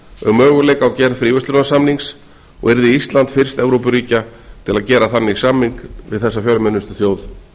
um möguleika á gerð fríverslunarsamnings og yrði ísland fyrst evrópuríkja til að gera þannig samning við þessa fjölmennustu þjóð